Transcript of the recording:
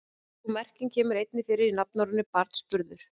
Sú merking kemur einnig fyrir í nafnorðinu barnsburður.